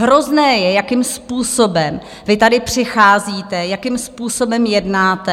Hrozné je, jakým způsobem vy tady přicházíte, jakým způsobem jednáte.